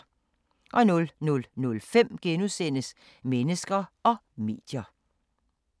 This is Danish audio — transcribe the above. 00:05: Mennesker og medier *